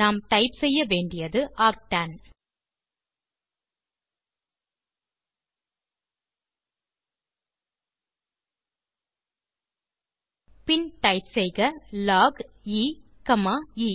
நாம் டைப் செய்ய வேண்டியது ஆர்க்டன் பின் டைப் செய்க லாக் எ காமா எ